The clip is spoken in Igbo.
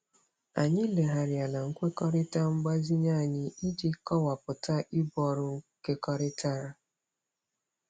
Anyị legharịala nkwekọrịta mgbazinye anyị iji kọwapụta ibu ọrụ nkekọrịtara.